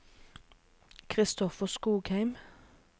Christopher Skogheim